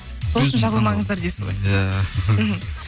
сол үшін жабылмаңыздар дейсіз ғой иә мхм